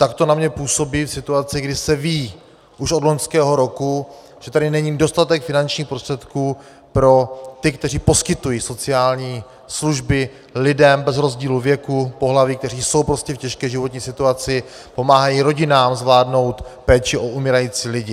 Tak to na mě působí v situaci, kdy se ví už od loňského roku, že tady není dostatek finančních prostředků pro ty, kteří poskytují sociální služby lidem bez rozdílu věku, pohlaví, kteří jsou prostě v těžké životní situaci, pomáhají rodinám zvládnout péči o umírající lidi.